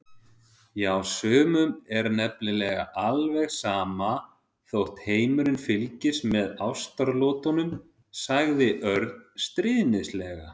Já, sumum er nefnilega ekki alveg sama þótt heimurinn fylgist með ástaratlotunum sagði Örn stríðnislega.